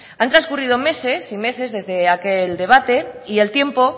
han transcurrido meses y meses desde aquel debate y el tiempo